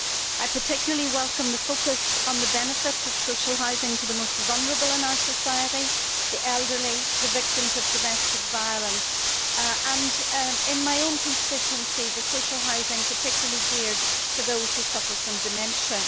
I particularly welcome the focus on the benefit of social housing to the most vulnerable in our society the elderly, the victims of domestic violence and, in my own constituency, the social housing particularly geared for those who suffer from dementia.